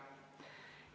Järgmine küsimus.